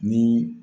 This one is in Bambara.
Ni